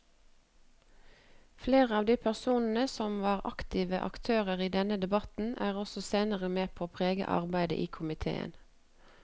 Flere av de personene som var aktive aktører i denne debatten var også senere med på å prege arbeidet i komiteen.